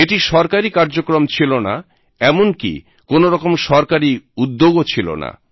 এটি সরকারি কার্যক্রম ছিলোনা এমনকি কোনোরকম সরকারি উদ্যোগ ছিলোনা